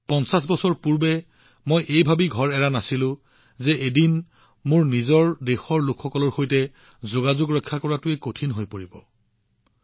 পঞ্চাশ বছৰ আগতে মই কেৱল মোৰ নিজৰ দেশৰ লোকসকলৰ সৈতে যোগাযোগ কৰাটো কঠিন হব এই ভাবি মোৰ ঘৰ এৰি যোৱা নাছিলো